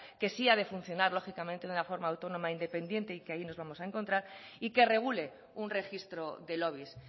que sí ha de funcionar lógicamente de una forma autónoma e independiente y que ahí nos vamos a encontrar y que regule un registro de lobbies